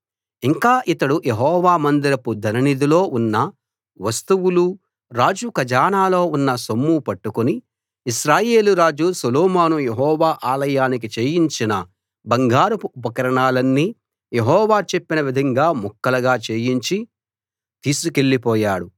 ఇంకా అతడు యెహోవా మందిరపు ధననిధిలో ఉన్న వస్తువులు రాజు ఖజానాలో ఉన్న సొమ్ము పట్టుకుని ఇశ్రాయేలు రాజు సొలొమోను యెహోవా ఆలయానికి చేయించిన బంగారపు ఉపకరణాలన్నీ యెహోవా చెప్పిన విధంగా ముక్కలుగా చేయించి తీసుకెళ్ళిపోయాడు